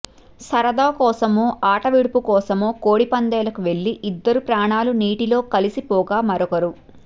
సరదా కోసమో ఆట విడుపు కోసమో కోడి పందేలకు వెళ్లి ఇద్దరి ప్రాణాలు నీటిలో కలసి పోగా మరొకరు